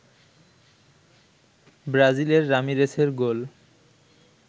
ব্রাজিলের রামিরেসের গোল